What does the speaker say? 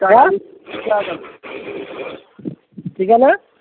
কি কাজ আছে